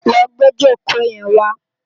Lò gbé ijókó yèn wá